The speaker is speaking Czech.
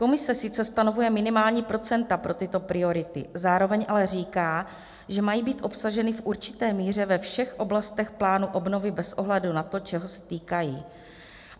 Komise sice stanovuje minimální procenta pro tyto priority, zároveň ale říká, že mají být obsaženy v určité míře ve všech oblastech plánu obnovy bez ohledu na to, čeho se týkají.